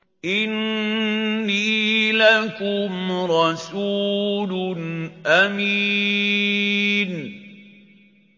إِنِّي لَكُمْ رَسُولٌ أَمِينٌ